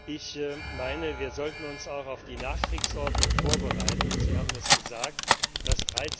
Ich meine, wir sollten uns auch auf die Nachkriegsordnung vorbereiten. Sie haben es gesagt Das